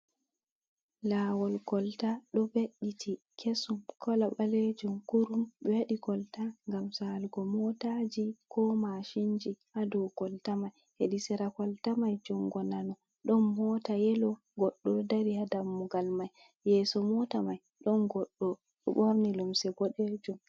Lawol kolta ɗo ve’iti kesum kala ɓalejum kurum. Ɓe waɗi kolta ngam salugo motaji, ko mashinji ha dou kolta mai. Hedi sera kolta mai jungo nano ɗon mota yelo goɗɗo ɗo dari ha dammugal mai. Yeso mota mai ɗon goɗɗo o'ɓorni limse boɗejum.